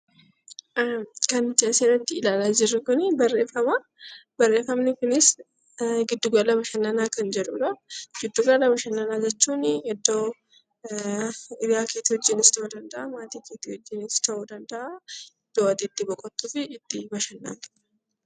Kan asirratti ilaalaa jirru Kun barreeffamaa. Barreeffamni kunis giddu gala bashannanaa kan jedhudha. Giddu gala bashannanaa jechuun iddoo hiriyaa kee wajjinis ta'uu danda'a, maatii kee wajjinis ta'uu danda'a, iddoo ati itti boqottuu fi itti bashannantudha.